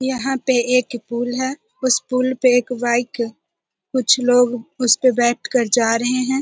यहाँ पे एक पूल है उस पुल पे एक बाइक कुछ लोग उस पे बैठ कर जा रहे हैं ।